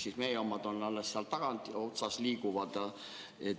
Kas meie omad liiguvad alles kusagil tagaotsas?